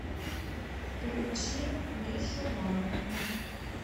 включи мишу марвина